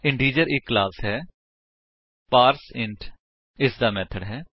integer ਇੱਕ class ਹੈ ਅਤੇ ਪਾਰਸੈਂਟ ਇਸਦਾ ਮੇਥਡ ਹੈ